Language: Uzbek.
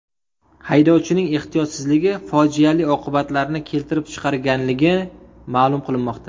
Haydovchining ehtiyotsizligi fojiali oqibatlarni keltirib chiqarganligi ma’lum qilinmoqda.